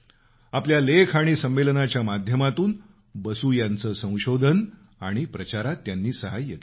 आपल्या लेख आणि संमेलनाच्या माध्यमातून बसू यांचं संशोधन आणि प्रचारात सहाय्य केलं